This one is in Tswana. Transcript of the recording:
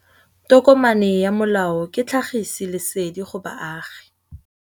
Tokomane ya molao ke tlhagisi lesedi go baagi.